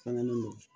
Fɛngɛlen don